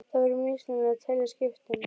Það væri misskilningur að telja skiptin